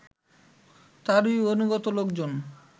তারই অনুগত লোকজন